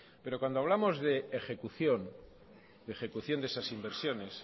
cuando hablamos de ejecución de esas inversiones